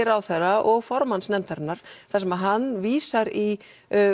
ráðherra og formanns nefndarinnar þar sem hann vísar í